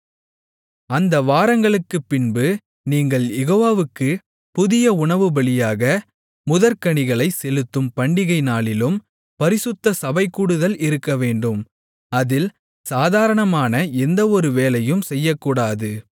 அந்த வாரங்களுக்குப்பின்பு நீங்கள் யெகோவாவுக்குப் புதிய உணவுபலியாக முதற்கனிகளைச் செலுத்தும் பண்டிகை நாளிலும் பரிசுத்த சபைகூடுதல் இருக்கவேண்டும் அதில் சாதாரணமான எந்த ஒரு வேலையும் செய்யக்கூடாது